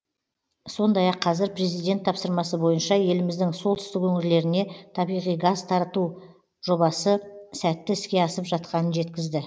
сондай ақ қазір президент тапсырмасы бойынша еліміздің солтүстік өңірлеріне табиғи газ тарту жобасы сәтті іске асып жатқанын жеткізді